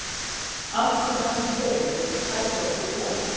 Allt sem hann gerir færir okkur von.